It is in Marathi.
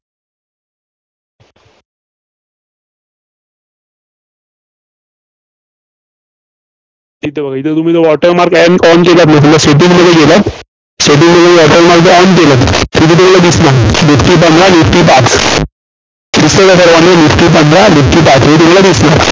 इथं बघा इथं water mark आहे, setting मध्ये water mark on केलं. दिसलं निफ्टी पंधरा, निफ्टी पाच. दिसतेय का सगळ्यांना निफ्टी पंधरा, निफ्टी पाच.